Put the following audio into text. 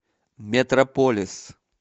метрополис